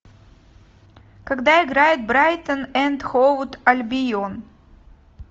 когда играет брайтон энд хоув альбион